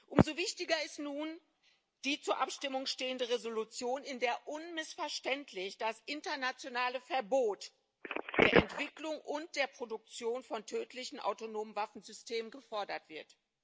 Umso wichtiger ist nun die zur Abstimmung stehende Entschließung, in der unmissverständlich das internationale Verbot der Entwicklung und der Produktion von tödlichen autonomen Waffensystemen gefordert wird.